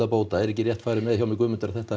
bóta er ekki rétt farið með hjá mér Guðmundur að þetta